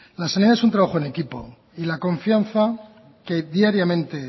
la sanidad es un trabajo en equipo y la confianza que diariamente